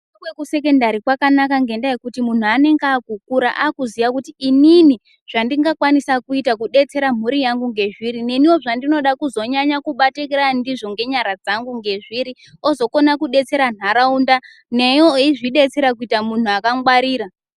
Kufunda kwekusekondari kwanaka ngekuti muntu anenge akukura akuziya kuti inini Zvandingakwanisa kuita kudetsera mhuri yangu nezviri neniwo zvandinoda kubatikira ngenyara dzangu nezviri kukona kudetsera nharaunda newewo uchizvidetsera kuita muntu akangwarira.